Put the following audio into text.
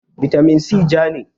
bitamin si ja ne